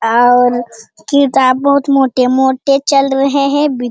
और किताब बहुत मोटे-मोटे चल रहे है बी --